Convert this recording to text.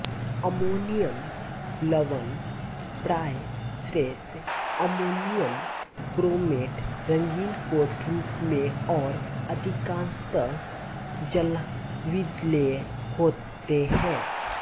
ammonium लवण प्राय श्वेत अममोनियम क्रोमेट रंगीन ठोस रूप में और अधिकांशतः जलविलेय होते हैं